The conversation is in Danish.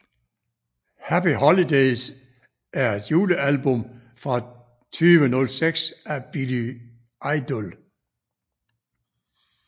Happy Holidays er et julealbum fra 2006 af Billy Idol